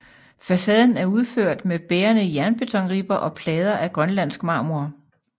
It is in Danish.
Facaden er udført med bærende jernbetonribber og plader af grønlandsk marmor